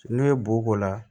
Ne ye bo k'o la